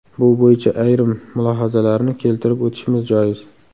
Bu bo‘yicha ayrim mulohazalarni keltirib o‘tishimiz joiz.